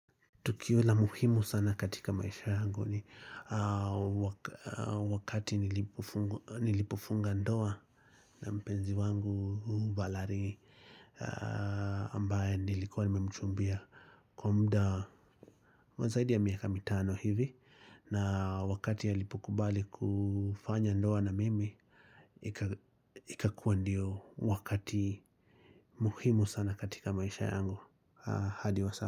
Tukio la muhimu sana katika maisha yangu ni wakati nilipofunga ndoa na mpenzi wangu valary ambaye nilikuwa nimemchumbia. Kwa muda wa zaidi ya miaka mitano hivi na wakati alipokubali kufanya ndoa na mimi, ikakuwa ndio wakati muhimu sana katika maisha yangu hadi wa sai.